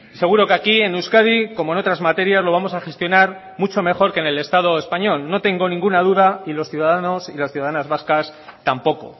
seguro que aquí en euskadi como en otras materias lo vamos a gestionar mucho mejor que en el estado español no tengo ninguna duda y los ciudadanos y las ciudadanas vascas tampoco